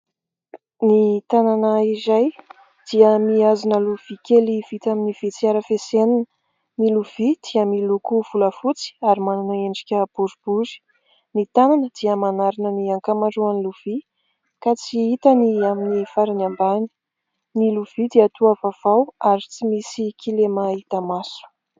Ny tanana iray dia mihazona lovia kely vita amin'ny vy tsy arafesenina. Ny lovia dia miloko volafotsy ary manana endrika boribory. Ny tanana dia manarona ny ankamaroan'ny lovia ka tsy hita ny amin'ny farany ambany. Ny lovia dia toa vaovao ary tsy misy kilema hita maso.